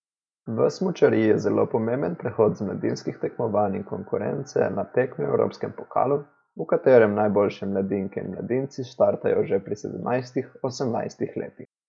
V smučariji je zelo pomemben prehod z mladinskih tekmovanj in konkurence na tekme v evropskem pokalu, v katerem najboljše mladinke in mladinci startajo že pri sedemnajstih, osemnajstih letih.